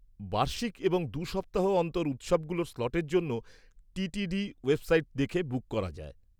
-বার্ষিক এবং দু সপ্তাহ অন্তর উৎসবগুলোর স্লটের জন্য টিটিডি ওয়েবসাইট দেখে বুক করা যায়।